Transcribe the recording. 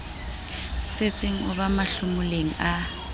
setseng o ba mahlomoleng a